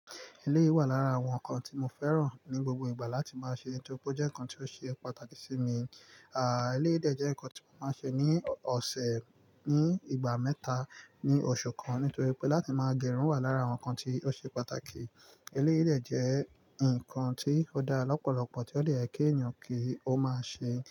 Eléyìí wà lára àwọn ǹkan tí mo fẹ́ràn ní gbogbo ìgbà láti máa ṣe nítorí pé ó jẹ́ ǹkan tí ó ṣe pàtàkì sí mi. À, eléyìí ìdè jẹ́ ǹkan tí mo máa ń ṣe ní ọ̀sẹ̀, ní ìgbà mẹ́ta, ní oṣù kan nítorí pé láti máa gẹrun wà lára àwọn ǹkan tí ó ṣe pàtàkì. Eléyìí ìdè jẹ́ ǹkan tí ó dára lọ́pọ̀lọ́pọ̀ tí ó lè kí èèyàn kí ó máa ṣe.